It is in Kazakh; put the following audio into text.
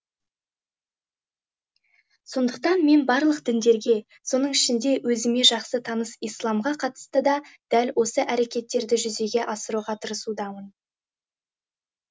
сондықтан мен барлық діндерге соның ішінде өзіме жақсы таныс исламға қатысты да дәл осы әрекеттерді жүзеге асыруға тырысудамын